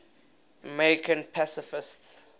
american pacifists